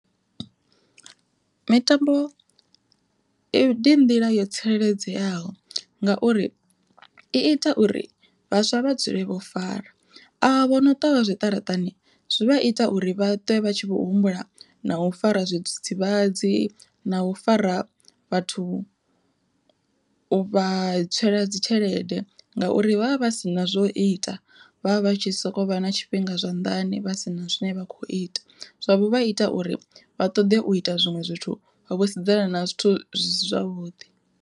Mitambo ndi nḓila yo tsireledzeaho ngauri i ita uri vhaswa vha dzule vho fara avho vhono ṱwa vha zwiṱaraṱani zwi vha ita uri vha ṱwe vha tshi vho humbula na u fara zwidzidzivhadzi na u fara vhathu uvha tswela dzitshelede, ngauri vha vha vha si na zwo ita vha vha vha tshi sokou vha na tshifhinga zwanḓani vha sina zwine vha kho ita. Zwavho vha ita uri vha ṱoḓe u ita zwiṅwe zwithu vho sedzana na zwithu zwi si zwavhuḓi.